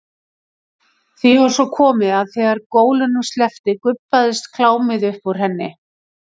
Því var svo komið að þegar gólunum sleppti gubbaðist klámið upp úr henni.